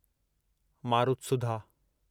मारुतसुधा